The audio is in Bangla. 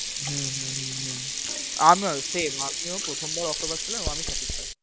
হম হু হু হু হু আমার same আমিও প্রথমবার octopus খেলাম আমি satisfy ।